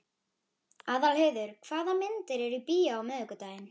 Aðalheiður, hvaða myndir eru í bíó á miðvikudaginn?